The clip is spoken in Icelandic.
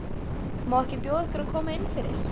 Má ekki bjóða ykkur að koma innfyrir?